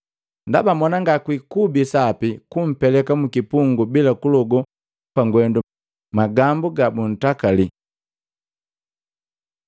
Ndaba mona ngakwikubi sapi kumpeleka mukipungu bila kulogo pangwendu magambu gabuntakali.”